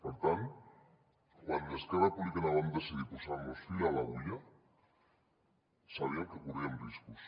per tant quan a esquerra republicana vam decidir posar fil a l’agulla sabíem que corríem riscos